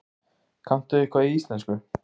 Þróun í átt að lággjaldaflugfélagi?